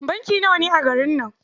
Banki nawa ne a garin nan?